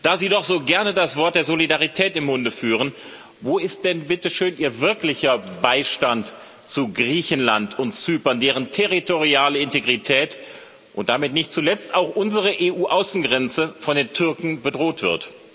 Da Sie doch so gerne das Wort der Solidarität im Munde führen Wo ist denn bitte schön Ihr wirklicher Beistand für Griechenland und Zypern, deren territoriale Integrität und damit nicht zuletzt auch unsere EU Außengrenze von den Türken bedroht wird?